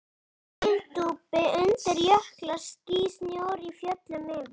Hyldýpi undir, jöklar, ský, snjór í fjöllum yfir.